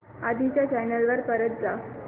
आधी च्या चॅनल वर परत जा